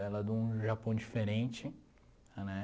Ela é de um Japão diferente, né?